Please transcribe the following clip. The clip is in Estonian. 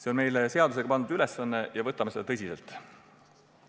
See on meile seadusega pandud ülesanne ja me suhtume sellesse tõsiselt.